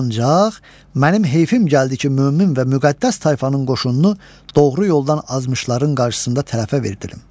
Ancaq mənim heyfim gəldi ki, mömin və müqəddəs tayfanın qoşununu doğru yoldan azmışların qarşısında tərəfə verdilim.